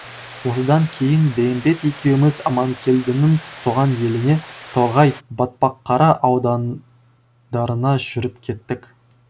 осыдан кейін бейімбет екеуіміз аманкелдінің туған еліне торғай батпаққара аудандарына жүріп кеттік